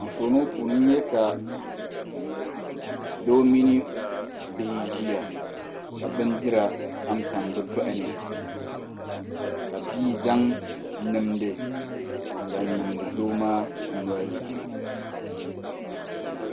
Anfooni ŋo puuni n nyɛ ka doo mini bihi n ʒiya ka bindira tamtam bi toɣani ka bia zaŋ nimdi n zaŋ niŋdi doo maa nolini